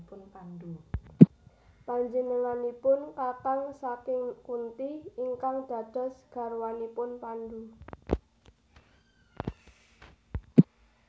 Panjenenganipun kakang saking Kunti ingkang dados garwanipun Pandu